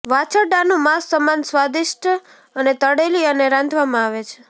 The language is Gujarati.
વાછરડાનું માંસ સમાન સ્વાદિષ્ટ અને તળેલી અને રાંધવામાં આવે છે